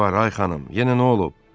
Nə var, ay xanım, yenə nə olub?